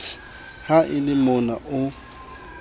ha e le mona o